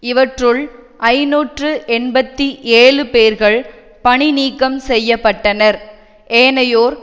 இவற்றுள் ஐநூற்று எண்பத்தி ஏழு பேர்கள் பணிநீக்கம் செய்ய பட்டனர் ஏனையோர்